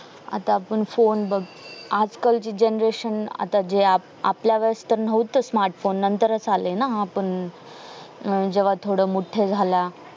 आता आपण फोने बघ आजकालची generation आता जे आपल्या वेळेस नव्हतं smartphone नंतरच आले ना हा पण जेव्हा थोडे मोठे झाला